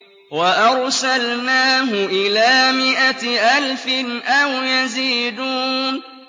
وَأَرْسَلْنَاهُ إِلَىٰ مِائَةِ أَلْفٍ أَوْ يَزِيدُونَ